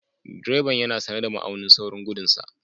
Direban yana sane da ma'aunin saurin gudun sa.